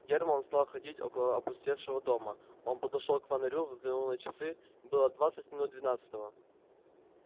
германн стал ходить около опустевшего дома он подошёл к фонарю взглянул на часы было двадцать минут двенадцатого